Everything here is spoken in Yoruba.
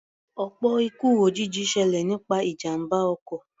Ọ̀pọ̀ ikú òjijì ṣẹlẹ̀ nípa ìjàmbá ọkọ̀.